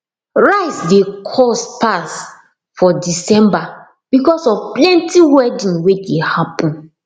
rice de cost pass for december because of plenty wedding wey de happen